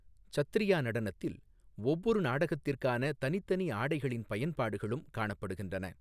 சத்ரியா நடனத்தில் ஒவ்வொரு நாடகத்திற்கான தனித்தனி ஆடைகளின் பயன்பாடுகளும் காணப்படுகின்றன.